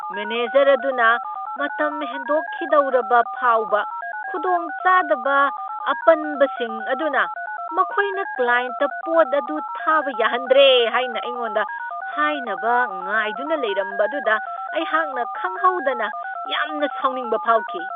Manager ꯑꯗꯨꯅ ꯃꯇꯝ ꯍꯦꯟꯗꯣꯛꯈꯤꯗꯧꯔꯕ ꯐꯥꯎꯕ ꯈꯨꯗꯣꯡꯆꯥꯗꯕ ꯑꯄꯟꯕꯁꯤꯡ ꯑꯗꯨꯅ ꯃꯈꯣꯏꯅ ꯀ꯭ꯂꯥꯌꯦꯟꯠꯇ ꯄꯣꯠ ꯑꯗꯨ ꯊꯥꯕ ꯌꯥꯍꯟꯗ꯭ꯔꯦ ꯍꯥꯏꯅ ꯑꯩꯉꯣꯟꯗ ꯍꯥꯏꯅꯕ ꯉꯥꯏꯗꯨꯅ ꯂꯩꯔꯝꯕ ꯑꯗꯨꯗ ꯑꯩꯍꯥꯛꯅ ꯈꯪꯍꯧꯗꯅ ꯌꯥꯝꯅ ꯁꯥꯎꯅꯤꯡꯕ ꯐꯥꯎꯈꯤ ꯫